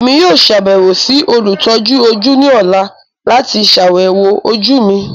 Emi yoo ṣabẹwo si olutọju oju ni ọla lati ṣayẹwo oju mi.